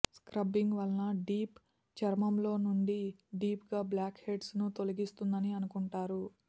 scrubbing వల్ల deep చర్మంలో నుండి డీప్ గా బ్లాక్ హెడ్స్ ను తొలగిస్తుందని అనుకుంటారు